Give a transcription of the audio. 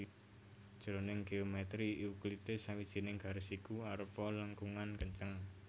Jroning géomètri Euklides sawijining garis iku arupa lengkungan kenceng